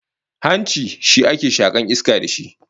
Hanci shi ake shakaru iska da shi